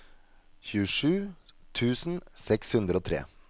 tjuesju tusen seks hundre og tre